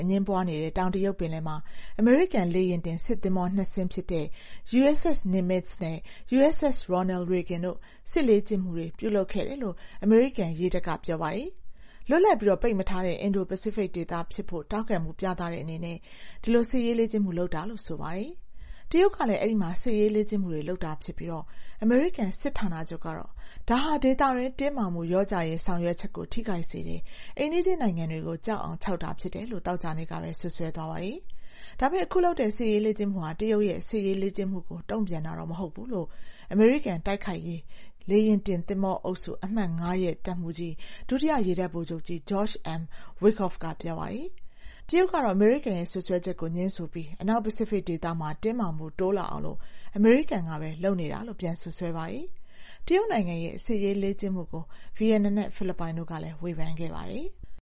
အငြင်းပွားနေတဲ့ တောင်တရုတ်ပင်လယ်မှာ အမေရိကန် လေယာဉ်တင်စစ်သင်္ဘော ၂ စင်းဖြစ်တဲ့ USS Nimitz နဲ့ USS Ronald Reagan တို့ စစ်ရေးလေ့ကျင့်ခဲ့တယ်လို့ အမေရိကန်ရေတပ်က ပြောပါတယ်။ လွတ်လပ်ပြီး ပိတ်မထားတဲ့ အင်ဒို-ပစိဖိတ်ဒေသဖြစ်ဖို့ ထောက်ခံမှုပြတဲ့အနေနဲ့ စစ်ရေးလေ့ကျင့်မှု လုပ်တာလို့ ပြောပါတယ်။ တရုတ်ကလည်း အဲဒီမှာ စစ်ရေးလေ့ကျင့်မှုတွေ လုပ်တာဖြစ်ပြီး အမေရိကန် စစ်ဌာနချုပ်ကတော့ ဒါဟာ ဒေသတွင်းတင်းမာမှု လျော့ကျရေး ဆောင်ရွတ်ချက်တွေကို ထိခိုက်စေတယ်၊ အိမ်နီးချင်းနိုင်ငံတွေကို ကြောက်အောင် ခြောက်တာဖြစ်တယ်လို့ သောကြာနေ့ကပဲ စွပ်စွဲသွားပါတယ်။ ဒါပေမယ့် အခုလုပ်တဲ့ စစ်ရေးလေ့ကျင့်မှုဟာ တရုတ်ရဲ့ စစ်ရေးလေ့ကျင့်မှုတွေကို တုံ့ပြန်တာ မဟုတ်ဘူးလို့ အမေရိကန် တိုက်ခိုက်ရေး လေယာဉ်တင်သင်္ဘောအုပ်စု အမှတ် ၅ ရဲ့ တပ်မှူးကြီး ဒုတိယ ရေတပ်ဗိုလ်ချုပ်ကြီး George M. Wikoff က ပြောပါတယ်။ တရုတ်ကတော့ ဒီစွပ်စွဲချက်ကို ငြင်းဆိုပြီး အနောက်ပစိဖိတ်ဒေသမှာ တင်းမာမှု တိုးလာအောင် အမေရိကန်ကပဲ လုပ်နေတာလို့ စွပ်စွဲပါတယ်။ တရုတ်နိုင်ငံရဲ့ စစ်ရေးလေ့ကျင့်မှုကို ဗီယက်နမ်နဲ့ ဖိလစ်ပိုင်တို့ကလည်း ဝေဖန်ခဲ့ပါတယ်။